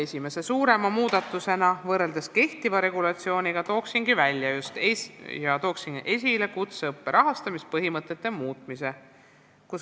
Esimese suurema muudatusena võrreldes kehtiva regulatsiooniga toon esile kutseõppe rahastamise põhimõtete muutmise.